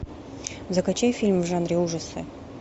закачай фильм в жанре ужасы